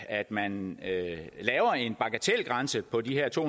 at man laver en bagatelgrænse på de her to